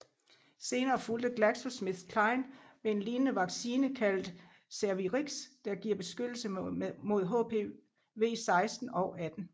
Senere fulgte GlaxoSmithKline med en lignende vaccine kaldet Cervarix der giver beskyttelse mod HPV 16 og 18